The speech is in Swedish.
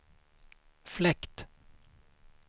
fläkt